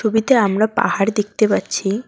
ছবিতে আমরা পাহাড় দেখতে পাচ্ছি।